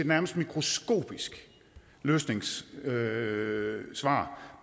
nærmest mikroskopisk løsningssvar løsningssvar